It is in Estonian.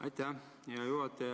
Aitäh, hea juhataja!